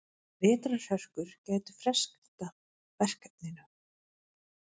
Vetrarhörkur gætu frestað verkefninu.